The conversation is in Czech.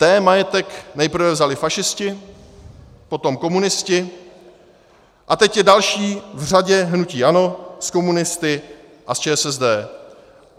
Té majetek nejprve vzali fašisti, potom komunisti a teď je další v řadě hnutí ANO s komunisty a s ČSSD.